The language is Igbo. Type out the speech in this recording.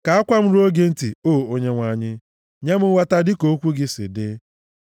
Ka akwa m ruo gị ntị, o Onyenwe anyị; nye m nghọta dịka okwu gị si dị.